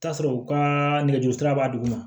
Taa sɔrɔ u ka nɛgɛjuru sira b'a duguma